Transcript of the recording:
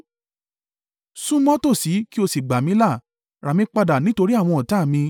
Súnmọ́ tòsí kí o sì gbà mí là; rà mí padà nítorí àwọn ọ̀tá mi.